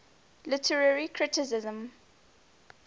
literary criticism